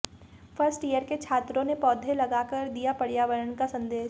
first year के छात्रों ने पौधे लगाकर दिया पर्यावरण का संदेश